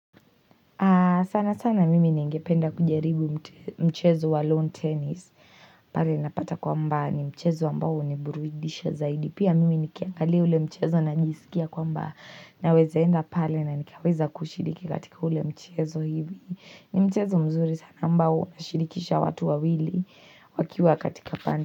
Sana sana mimi ningependa kujaribu mchezo wa long tennis. Pale napata kwamba ni mchezo ambao huniburudisha zaidi. Pia mimi nikiangalia ule mchezo na najisikia kwamba naweza enda pale na nikaweza kushiriki katika ule mchezo hivi. Ni mchezo mzuri sana ambao nashirikisha watu wawili wakiwa katika pande.